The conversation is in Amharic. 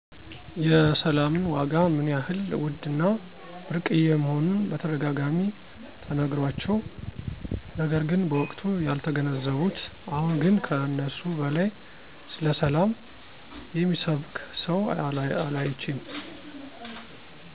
የሰላምን ዋጋ ምን ያህል ውድ እና ብርቅየ መሆኑን በተደጋጋሚ ተነግሯቸው፤ ነገር ግን በወቅቱ ያልተገነዘቡት አሁን ግን ከእነሱ በላይ ስለሰላም የሚሰብክ ሰው አላይቼም።